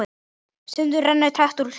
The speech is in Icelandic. Stundum rennur tregt úr trekt.